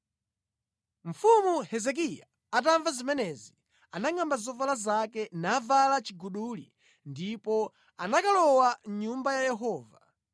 Mfumu Hezekiya atamva zimenezi, anangʼamba zovala zake navala chiguduli ndipo analowa mʼNyumba ya Yehova.